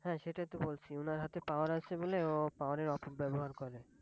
হ্যাঁ সেটাই তো বলছি, ওনার হাতে Power আছে বলে ও Power এর অপ ব্যবহার করে!